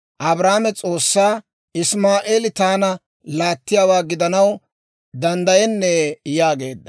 Abrahaame S'oossaa, «Isimaa'eeli taana laattiyaawaa gidanaw danddayennee?» yaageedda.